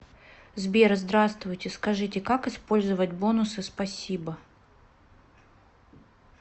сбер здравствуйте скажите как использовать бонусы спасибо